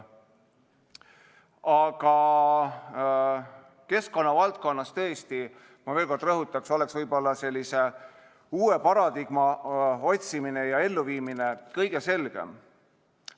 Aga keskkonnavaldkonnas tõesti, ma veel kord rõhutaks, oleks võib-olla uue paradigma otsimine ja elluviimine kõige selgem.